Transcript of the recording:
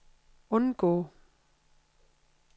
undgå